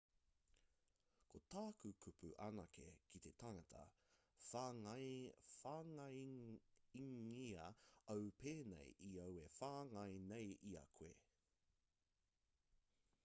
ko tāku kupu anake ki te tangata whāngaingia au pēnei i au e whāngai nei i a koe